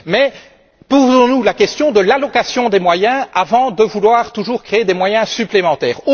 Mais posons nous la question de l'allocation des moyens avant de vouloir toujours créer des moyens supplémentaires.